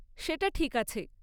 সেটা ঠিক আছে।